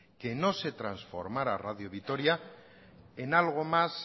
que no se trasformara radio vitoria en algo más